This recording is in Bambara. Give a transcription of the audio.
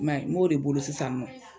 Mɛ n b'o de bolo sisan nɔ.